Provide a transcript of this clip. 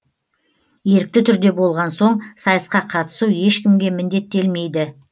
ерікті түрде болған соң сайысқа қатысу ешкімге міндеттелмейді